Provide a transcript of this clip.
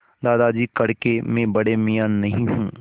दादाजी कड़के मैं बड़े मियाँ नहीं हूँ